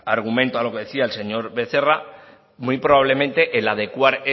argumento a lo que decía el señor becerra muy probablemente el adecuar